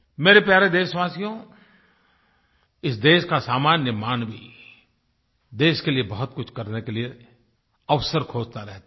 मेरे प्यारे देशवासियो इस देश का सामान्य मानव देश के लिए बहुतकुछ करने के लिए अवसर खोजता रहता है